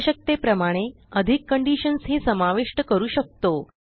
आवश्यकतेप्रमाणे अधिक कंडिशन्स ही समाविष्ट करू शकतो